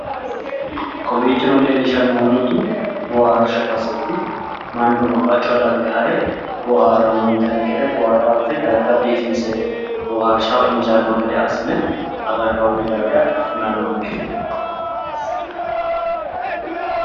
kowiichino leellishshannohu mittu boohaarshu baseeti mannu babaxino darga hare boohaarannonte gede darga biifinse boohaarshaho injaanno gede assine agarroonni base kulnnonke.